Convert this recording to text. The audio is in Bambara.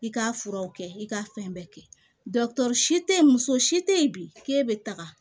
I ka furaw kɛ i ka fɛn bɛɛ kɛ si te ye muso si te yen bi k'e bɛ taga